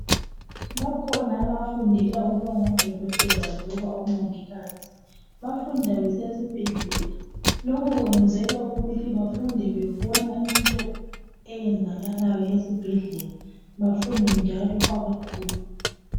Bakhona abafundela ukubangodokotela loba omongikazi bafunda besesibhedlela lokhu kwenzelwa ukuthi bafunde bebona into eyenzakalayo esibhedlela bafunde njalo bebona kwabakhulu.